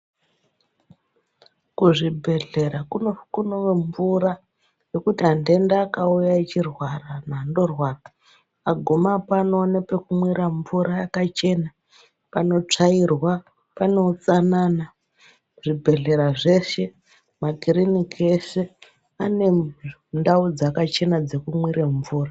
Kuzvibhedhlera kuno mvura yokuti andenda akauya achirwara muntu andorwara, agumapo anopuwa mvura yakachena panotsvairwa pano utsanana, zvibhedhelera zveshe, makiriniki eshe ane ndau dzakachena dzokumwira mvura.